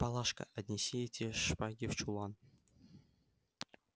палашка отнеси эти шпаги в чулан